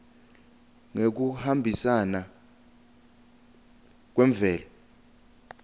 ngekuhambisana kwemvelo